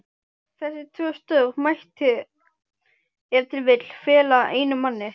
Þessi tvö störf mætti ef til vill fela einum manni.